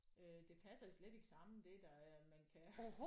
Øh det passer slet ikke sammen det der er man kan